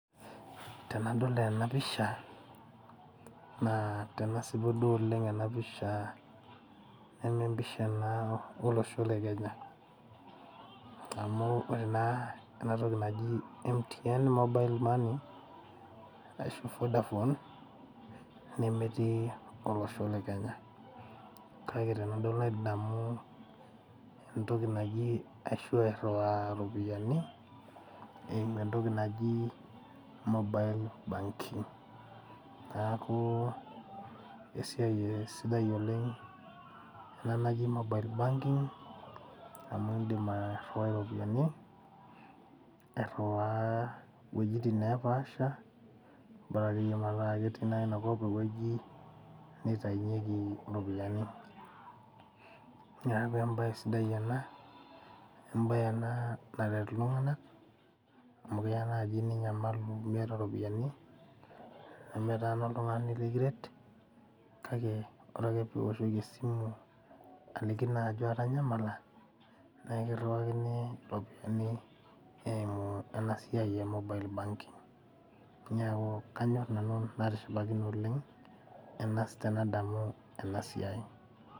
Tenadol ena pisha naa tenasipu duo oleng ena pisha nemempisha naa olosho le kenya amu ore naa enatoki naji MTN mobile money arashu vodafone nemetii olosho le kenya kake tenadol nadamu entoki naji ashu airriwaa iropiyiani eimu entoki naji mobile banking naku esiai eh sidai oleng ena naji mobile banking amu indim uh airriwai iropiyiani airriwaa iwuejitin nepaasha [vs]bora akeyie mataa ketii naa inakop ewueji nitainyieki iropiyiani niaku embaye sidai ena embaye ena naret iltung'anak amu keya naaji ninyamalu miyata iropiyiani nemetaana oltung'ani likiret kake ore ake piwoshoki esimu aliki naa ajo atanyamala nekirriwakini iropiyiani eimu ena siai e mobile banking niaku kanyorr nanu natishipakine oleng enas tenadamu ena siai.